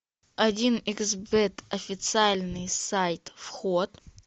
один икс бет официальный сайт вход